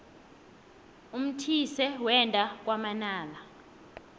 umthise wenda kwamanala